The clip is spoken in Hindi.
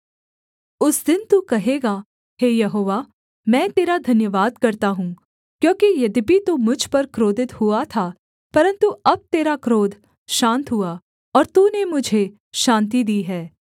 उस दिन तू कहेगा हे यहोवा मैं तेरा धन्यवाद करता हूँ क्योंकि यद्यपि तू मुझ पर क्रोधित हुआ था परन्तु अब तेरा क्रोध शान्त हुआ और तूने मुझे शान्ति दी है